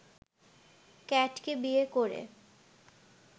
ক্যাটকে বিয়ে করে